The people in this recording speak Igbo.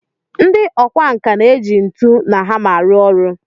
Ndị ọkwá nkà na-eji ntu na hama arụ ọrụ